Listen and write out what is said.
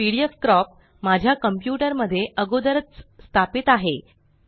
pdfcrop माझ्या computer मध्ये अगोदरच स्थापित आहे